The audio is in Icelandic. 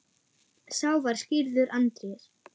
Sá var skírður Andrés.